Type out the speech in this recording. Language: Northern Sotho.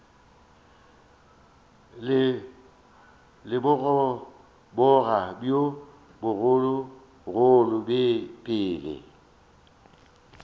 le bogoboga bjo bogologolo pele